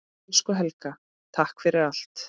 Elsku Helga, takk fyrir allt.